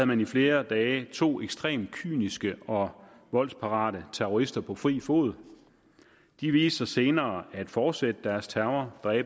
man i flere dage to ekstremt kyniske og voldsparate terrorister på fri fod de viste sig senere at fortsætte deres terror